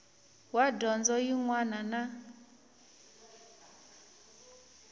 wa dyondzo yin wana na